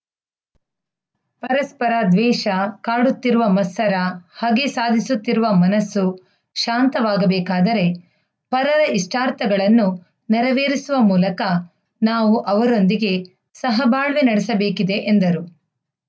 ಪರಸ್ಪರ ದ್ವೇಷ ಕಾಡುತ್ತಿರುವ ಮತ್ಸರ ಹಗೆ ಸಾದಿಸುತ್ತಿರುವ ಮನಸ್ಸು ಶಾಂತವಾಗಬೇಕಾದರೆ ಪರರ ಇಷ್ಟಾರ್ಥಗಳನ್ನು ನೆರವೇರಿಸುವ ಮೂಲಕ ನಾವು ಅವರೊಂದಿಗೆ ಸಹಬಾಳ್ವೆ ನಡೆಸಬೇಕಿದೆ ಎಂದರು